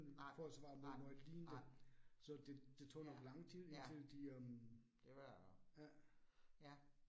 Nej, nej, nej. Ja, ja, det var, ja